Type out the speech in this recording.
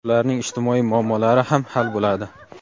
ularning ijtimoiy muammolari ham hal bo‘ladi.